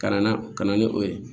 Ka na ka na ni o ye